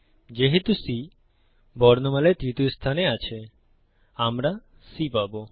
যেহেতু C বর্ণমালায় তৃতীয় স্থানে আছে আমরা C পাবো